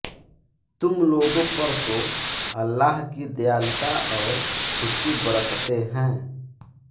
तुम लोगों पर तो अल्लाह की दयालुता और उसकी बरकतें है